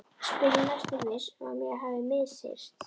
spyr ég, næstum viss um mér hafi misheyrst.